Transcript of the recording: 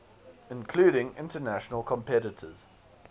including international competitors